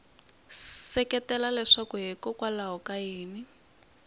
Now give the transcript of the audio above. seketela leswaku hikokwalaho ka yini